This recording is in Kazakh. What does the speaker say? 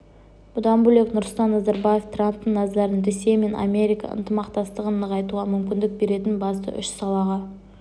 бұдан бөлек нұрсұлтан назарбаев трамптың назарын ресей мен америка ынтымақтастығын нығайтуға мүмкіндік беретін басты үш салаға